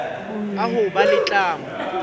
a ho ba le tlamo